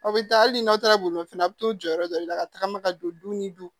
Aw bɛ taa hali n'aw taara bolimafɛn na a bɛ t'u jɔ yɔrɔ dɔ de la ka tagama ka don du ni du